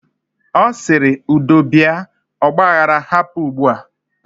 Osiri: Udo bia. Ogba aghara hapụ ugbua